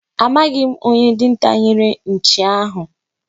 Amaghị m onye dinta nyere nchi ahụ.